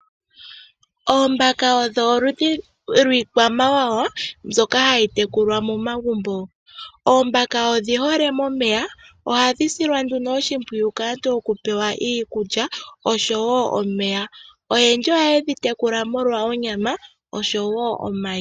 Oombaka odho oludhi lwiikwamawawa mbyoka hayi tekulwa momagumbo. Oombaka odhi hole momeya, ohadhi silwa nduno oshimpwuyu kaantu oku pewa iikulya osho wo omeya. Oyendji ohaye dhi tekula molwa onyama osho wo omayi.